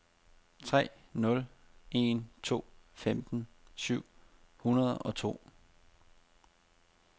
tre nul en to femten syv hundrede og to